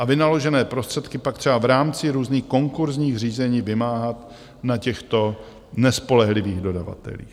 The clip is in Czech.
A vynaložené prostředky pak třeba v rámci různých konkurzních řízení vymáhat na těchto nespolehlivých dodavatelích.